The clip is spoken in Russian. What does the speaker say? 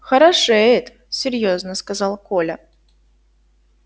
хорошеет серьёзно сказал коля